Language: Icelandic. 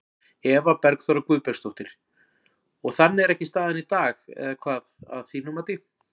Eva Bergþóra Guðbergsdóttir: Og þannig er ekki staðan í dag eða hvað, að þínu mati?